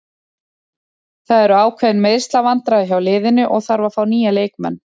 Það eru ákveðin meiðslavandræði hjá liðinu og þarf að fá nýja leikmenn.